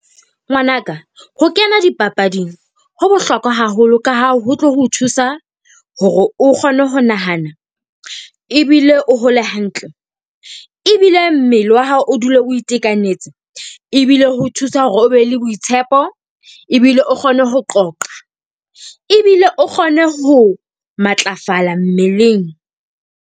Ngwanaka, ho kena dipapading ho bohlokwa haholo ka ha ho tlo ho thusa hore o kgone ho nahana ebile o hole hantle. Ebile mmele wa hao o dule o itekanetse. E bile ho thusa hore o be le boitshepo ebile o kgone ho qoqa. Ebile o kgone ho matlafala mmeleng.